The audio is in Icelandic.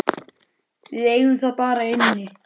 Við eigum það bara inni.